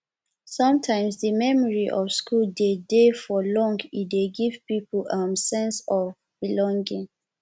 sometimes di memory of school de dey for long e dey give pipo um sense of um belonging